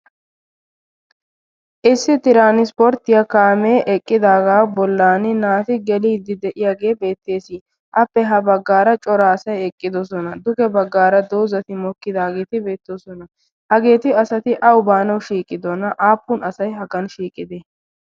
issi tirannspporttiyaa kaamee eqqidaagaa bollan naati geliiddi de'iyaagee beettees appe ha baggaara cora asai eqqidosona. duge baggaara doozati mokkidaageeti beettoosona hageeti asati au baanau shiiqidona aappun asai haggan shiiqite?